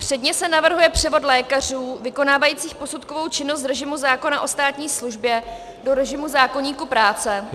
Předně se navrhuje převod lékařů vykonávajících posudkovou činnost z režimu zákona o státní službě do režimu zákoníku práce -